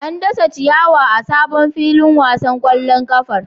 An dasa ciyawa a sabon filin wasan kwallon kafar.